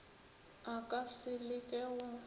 a ka se leke go